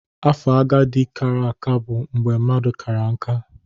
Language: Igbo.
Afo agadi kara aka bụ mgbe mmadụ kara nká.